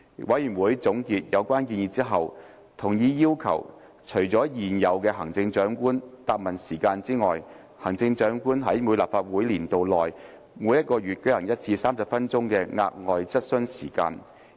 委員會總結有關建議後，同意要求在現有的行政長官答問時間以外，行政長官在每一立法年度內每月舉行一次30分鐘的額外質詢時間。